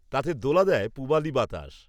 তাতে দোলা দেয় পূবালী বাতাস